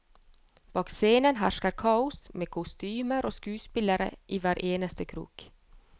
Bak scenen hersket kaos, med kostymer og skuespillere i hver eneste krok.